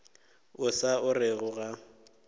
o sa o orego ga